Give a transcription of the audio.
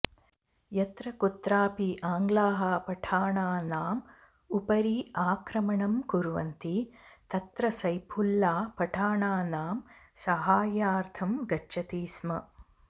यत्र कुत्रापि आङ्ग्लाः पठाणानाम् उपरि आक्रमणं कुर्वन्ति तत्र सैफुल्ला पठाणानां साहाय्यार्थं गच्छति स्म